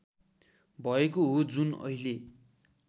भएको हो जुन अहिले